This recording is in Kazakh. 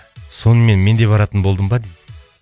сонымен мен де баратын болдым ба дейді